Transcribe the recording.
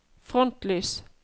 frontlys